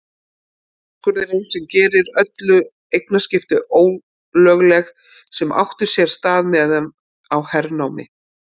Úrskurðinn sem gerir öll eignaskipti ólögleg sem áttu sér stað meðan á hernámi